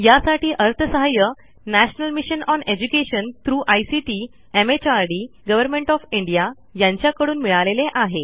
यासाठी अर्थसहाय्य national mission on education through ICT MHRD government of India यांच्याकडून मिळालेले आहे